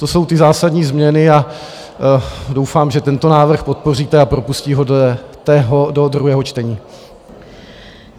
To jsou ty zásadní změny a doufám, že tento návrh podpoříte a propustíte ho do druhého čtení.